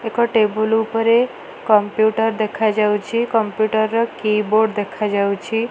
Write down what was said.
ଏକ ଟେବୁଲ୍ ଉପରେ କମ୍ପ୍ୟୁଟର ଦେଖାଯାଉଛି। କମ୍ପ୍ୟୁଟର କିବୋର୍ଡ ଦେଖାଯାଉଛି।